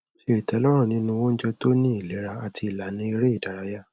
ṣe ìtẹlọrùn nínú oúnjẹ tó ní ìlera àti ìlànà eré ìdárayá